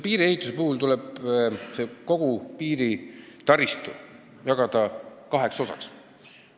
Piiriehituse puhul tuleb kogu piiritaristu jagada kaheks osaks.